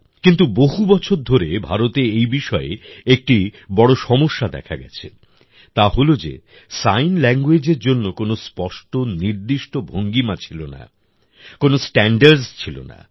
কিন্তু বহু বছর ধরে ভারতে এই বিষয়ে একটি বড় সমস্যা দেখা গেছে তা হল যে সাইন languageএর জন্য কোনও স্পষ্ট নির্দিষ্ট ভঙ্গিমা ছিলনা কোন স্ট্যান্ডার্ডস ছিলনা